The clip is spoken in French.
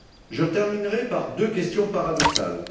Je terminerai par deux questions paradoxales.